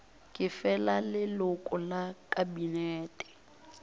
ke fela leloko la kabinete